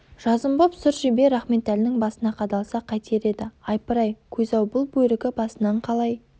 жазым боп сұр жебе рахметәлінің басына қадалса қайтер еді айпырай ақ көз-ау бұл бөрікі басынан қалай